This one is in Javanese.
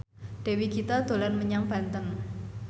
Dewi Gita dolan menyang Banten